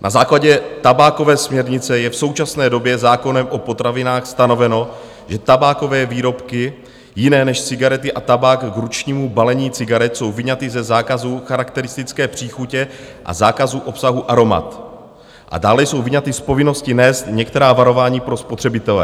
Na základě tabákové směrnice je v současné době zákonem o potravinách stanoveno, že tabákové výrobky jiné než cigarety a tabák k ručnímu balení cigaret jsou vyňaty ze zákazu charakteristické příchuti a zákazu obsahu aromat a dále jsou vyňaty z povinnosti nést některá varování pro spotřebitele.